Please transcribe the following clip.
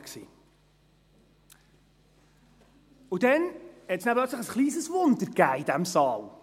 Und dann gab es plötzlich ein kleines Wunder in diesem Saal.